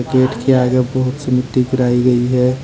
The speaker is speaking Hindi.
गेट के आगे बहुत सी मिट्टी गिराई गई है।